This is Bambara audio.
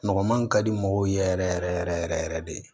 Mɔgɔ man ka di mɔgɔw ye yɛrɛ yɛrɛ yɛrɛ yɛrɛ yɛrɛ de